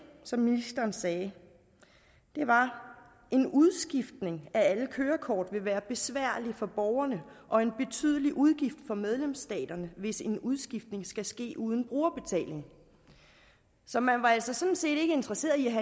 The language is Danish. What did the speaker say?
som ministeren sagde var en udskiftning af alle kørekort vil være besværlig for borgerne og en betydelig udgift for medlemsstaterne hvis en udskiftning skal ske uden brugerbetaling så man var altså sådan set ikke interesseret i at